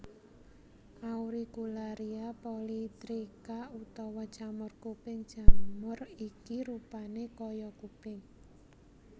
Auricularia polytricha utawa jamur kuping jamur iki rupané kaya kuping